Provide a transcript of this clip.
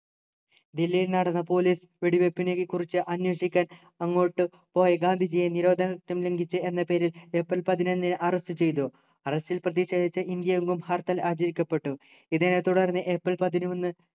ദില്ലിയിൽ നടന്ന police വെടിവെപ്പിനെക്കെക്കുറിച്ചു അന്വേഷിക്കാൻ അങ്ങോട്ട് പോയ ഗാന്ധിജിയെ നിരോധനാജ്ഞ ലംഘിച്ചു എന്ന പേരിൽ ഏപ്രിൽ പതിനൊന്നിന്‌ arrest ചെയ്തു arrest ൽ പ്രതിഷേധിച്ചു ഇന്ത്യയെങ്ങും ഹർത്താൽ ആചരിക്കപ്പെട്ടു ഇതിനെത്തുടർന്ന് ഏപ്രിൽ പതിനൊന്നു